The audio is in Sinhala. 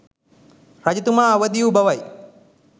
රජතුමා අවදි වූ බවයි.